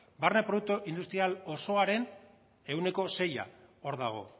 barne produktu industrial osoaren ehuneko sei hor dago